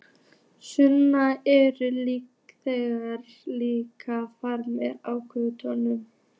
Sunna: Eru þeir líka frammi á göngum?